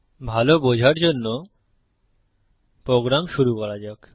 ভাল বোঝার জন্য প্রোগ্রাম শুরু করা যাক